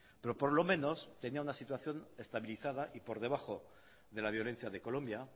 pero por lo menos tenía una situación estabilizada y por debajo de la violencia de colombia